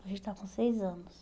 ele está com seis anos.